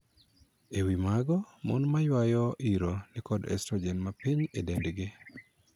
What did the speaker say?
E wii mago, mon ma yuayo iro ni kod 'estrogen' mapiny e dendgi.